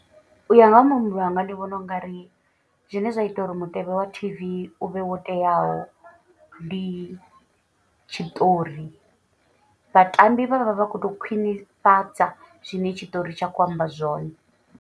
U ya nga ha muhumbulo wanga ndi vhona u ngari zwine zwa ita uri mutevhe wa T_V u vhe wo teaho. Ndi tshiṱori vhatambi vhavha vha khou tou khwinifhadza zwine tshiṱori tsha khou amba zwone.